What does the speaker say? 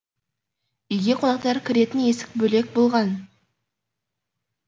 үйге қонақтар кіретін есік бөлек болған